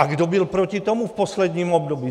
A kdo byl proti tomu v posledním období?